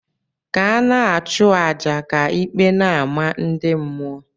ka ana achu aja, ka ikpe n' amah ndi mmuọ.